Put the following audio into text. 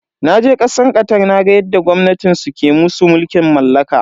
Naje kasar Qatar naga yadda gwamnatin su ke musu mulkin mallaka.